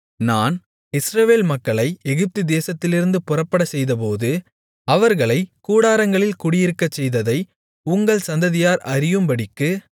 நான் இஸ்ரவேல் மக்களை எகிப்து தேசத்திலிருந்து புறப்படச்செய்தபோது அவர்களைக் கூடாரங்களில் குடியிருக்கச்செய்ததை உங்கள் சந்ததியார் அறியும்படிக்கு